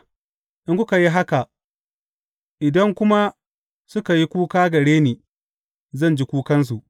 In kuka yi haka, idan kuma suka yi kuka gare ni, zan ji kukansu.